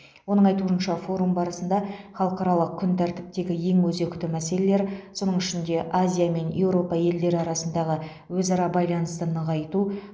оның айтуынша форум барысында халықаралық күн тәртіптегі ең өзекті мәселелер соның ішінде азия мен еуропа елдері арасындағы өзара байланысты нығайту